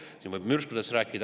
Siin võib mürskudest rääkida.